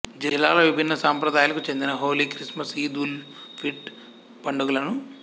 జిల్లాలో విభిన్న సంప్రదాయాలకు చెందిన హోళీ క్రిస్మస్ ఈద్ ఉల్ ఫిర్ట్ పండుగలను